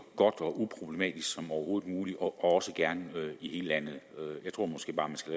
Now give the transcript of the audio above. godt og uproblematisk som overhovedet muligt og også gerne i hele landet jeg tror måske bare man skal